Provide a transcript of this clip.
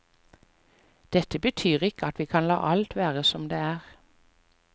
Dette betyr ikke at vi kan la alt være som det er.